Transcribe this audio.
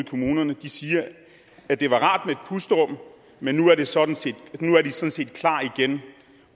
kommunerne siger at det var rart med et pusterum men nu er de sådan set klar igen